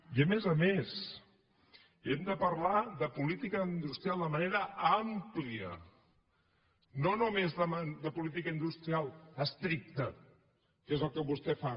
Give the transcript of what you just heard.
i a més a més hem de parlar de política industrial de manera àmplia no només de política industrial estricta que és el que vostè fa